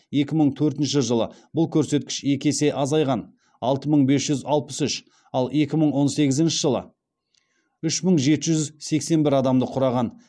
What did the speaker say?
екі мың төртінші жылы бұл көрсеткіш екі есе азайған алты мың бес жүз алпыс үш ал екі мың он сегізінші жылы үш мың жеті жүз сексен бір адамды құраған